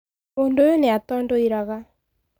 Mũndũ ũyũ nĩ atondoiraga.